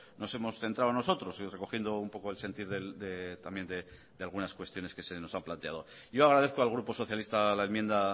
nos hemos centrado nosotros y recogiendo un poco el sentir también de algunas cuestiones que se nos han planteado yo agradezco al grupo socialista la enmienda